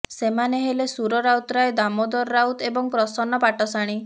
ସେମାନେ ହେଲେ ସୁର ରାଉତରାୟ ଦାମୋଦର ରାଉତ ଏବଂ ପ୍ରସନ୍ନ ପାଟ୍ଟଶାଣୀ